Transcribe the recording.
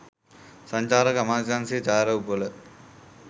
සංචාරක අමාත්‍යාංශයේ ඡායාරූපවල